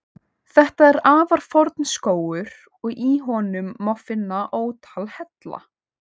Þetta er afar forn skógur og í honum má finna ótal hella.